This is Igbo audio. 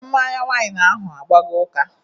Mmanya wain ahụ agbago ụka